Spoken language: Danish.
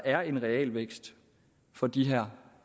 er en realvækst for de her